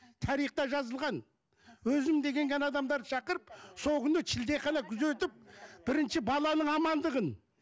тарихта жазылған өзім деген ғана адамдарды шақырып сол күні шілдехана күзетіп бірінші баланың амандығын